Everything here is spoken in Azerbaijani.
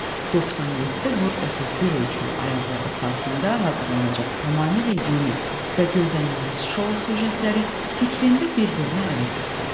97 vur 31 ölçülü ayaqlar əsasında hazırlanacaq tamamilə yeni və gözlənilməz şou sujetləri fikrində bir-birini əvəz etdi.